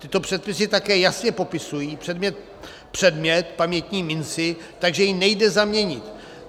Tyto předpisy také jasně popisují předmět, pamětní minci, takže ji nejde zaměnit.